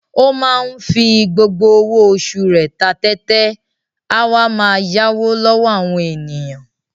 Ó máa ń fi gbogbo owó oṣù rẹ̀ ta tẹ́tẹ́, a wá máa yáwó lọ́wọ́ àwọn ènìyàn.